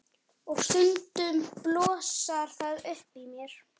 Og stundum blossar það upp í mér.